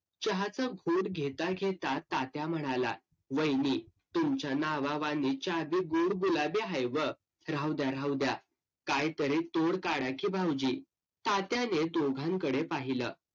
चहाचा घोट घेता घेता तात्या म्हणाला वाहिनी तुमच्या नावावानी चहा भी गोड गुलाबी हाव व्ह राहूद्या राहूद्या काय तरी तोड काडा कि भावोजी तात्याने दोघांकडे पाहिलं